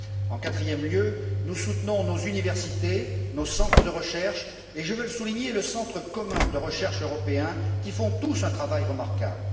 En quatrième lieu, nous soutenons nos universités, nos centres de recherches et notamment je veux le souligner le Centre commun de recherche européen, qui font tous un travail remarquable.